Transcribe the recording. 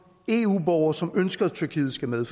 eu borgere som ønsker at tyrkiet skal med